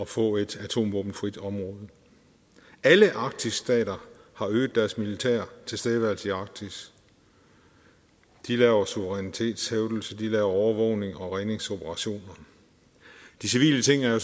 få et atomvåbenfrit område alle arktis stater har øget deres militære tilstedeværelse i arktis de laver suverænitetshævdelse de laver overvågning og redningsoperationer de civile ting er jo